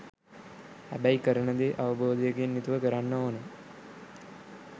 හැබැයි කරන දේ අවබෝධයකින් යුතුව කරන්න ඕනේ.